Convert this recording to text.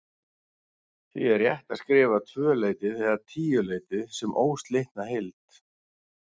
Því er rétt að skrifa tvöleytið eða tíuleytið sem óslitna heild.